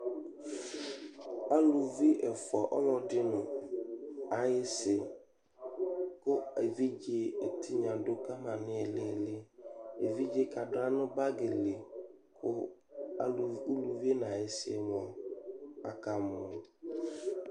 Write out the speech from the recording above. Aluvi ɛfʋa, ɔlɔdɩ nʋ ayɩsɩ kʋ evidze dʋ ka ma nʋ ɩɩlɩ ɩɩlɩ Evidze yɛ kadʋ aɣla nʋ bagɩ li kʋ aluv uluvi nʋ ayɩsɩ mʋa, akamɔ